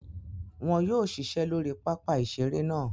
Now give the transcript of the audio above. Wọn yóò ṣiṣẹ́ lóri pápá ìseré náà